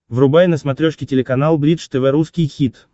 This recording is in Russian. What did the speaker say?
врубай на смотрешке телеканал бридж тв русский хит